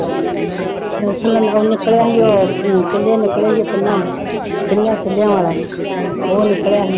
ਉਹ ਨਿਕਲਿਆ ਸੀ ਉਹ ਚੁੱਲੇ ਨਿਕਲੇ ਸੀ ਤਿੰਨਾਂ ਤਿੰਨਾਂ ਚੁੱਲਿਆਂ ਵਾਲਾ ਉਹ ਨਿਕਲਿਆ ਸੀ